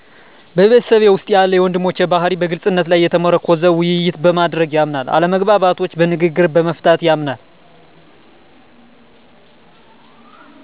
በቤተሰቤ ውስጥ ያለ የወንድሞቼ ባህርይ በግልፅነት ላይ የተመረኮዘ ውይይት በማድረግ ያምናል አለመግባባቶች በንግግር በመፍታት ያምናል።